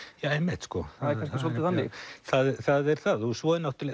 já einmitt það er kannski svolítið þannig það er það en svo er